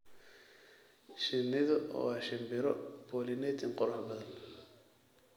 Shinnidu waa shimbiro pollinating qurux badan.